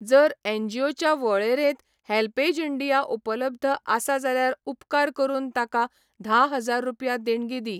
जर एनजीओच्या वळेरेंत हेल्पेज इंडिया उपलब्ध आसा जाल्यार उपकार करून ताका धा हजार रुपया देणगी दी.